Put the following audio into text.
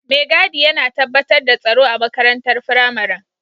Mai gadi yana tabbatar da tsaro a makarantar firamaren.